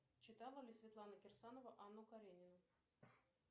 читала ли светлана кирсанова анну каренину